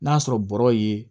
N'a sɔrɔ bɔrɔ ye